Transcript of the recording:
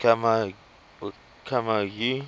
camagu